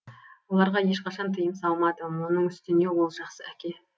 оларға ешқашан тыйым салмадым оның үстіне ол жақсы әке